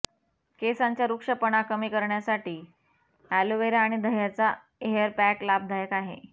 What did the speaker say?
केसांचा रुक्षपणा कमी करण्यासाठी अॅलोव्हेरा आणि दह्याचा हेअरपॅक लाभदायक आहे